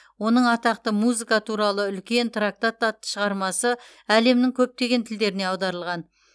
оның атақты музыка туралы үлкен трактат атты шығармасы әлемнің көптеген тілдеріне аударылған